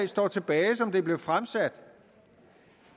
står tilbage som det blev fremsat